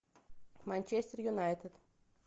манчестер юнайтед